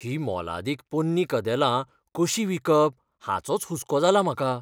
हीं मोलादीक पोन्नी कदेलां कशीं विकप हाचोच हुस्को जालां म्हाका.